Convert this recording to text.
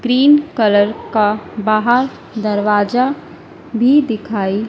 green colour का बाहर दरवाजा भी दिखाई--